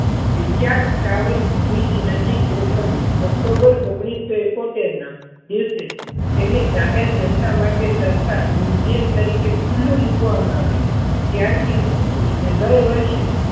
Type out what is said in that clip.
વિચયાત tower bridge નજીક ગોઠવ્યું. October ઓગણીસો ઇકોતર ના દિવસે તેને જાહેર જનતા માટે તરતા museum તરીકે ખુલ્લુ મૂકવામાં આવ્યું. ત્યાર થી ને દર વર્ષે